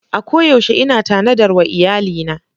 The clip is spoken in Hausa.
A koyaushe ina tanadar wa iyalina.